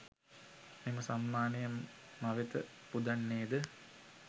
මෙම සම්මානය මවෙත පුදන්නේද?